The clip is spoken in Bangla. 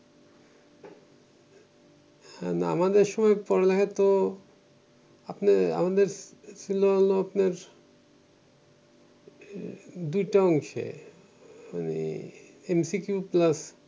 না আমাদের সময় পড়ালেখাতো আপনার আমাদের ছিল হল আপনের দুইটা অংশে মানে এমসিকিউ প্লাস